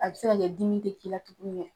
A be se ka kɛ dimi te k'i la tugun nɛ